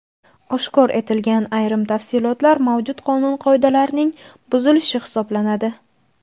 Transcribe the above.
Oshkor etilgan ayrim tafsilotlar mavjud qonun-qoidalarning buzilishi hisoblanadi.